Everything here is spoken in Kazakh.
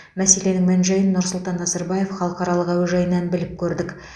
мәселенің мән жайын нұрсұлтан назарбаев халықаралық әуежайынан біліп көрдік